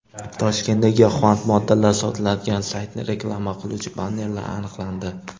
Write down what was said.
Toshkentda giyohvand moddalar sotiladigan saytni reklama qiluvchi bannerlar aniqlandi.